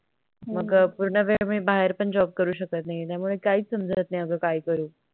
मग पूर्ण वेळ मी बाहेर पण Job करू शकत नाही त्यामुळे काही समझत नाही अग काय करू